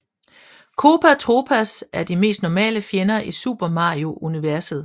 Koopa Troopas er de mest normale fjender i Super Mario universet